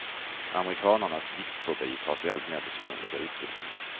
Amerikanarnas viktfobi tar sig alltmer besynnerliga uttryck.